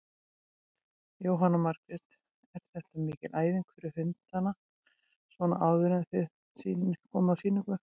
Jóhanna Margrét: Er þetta mikil æfing fyrir hundana svona áður en þið komið á sýningu?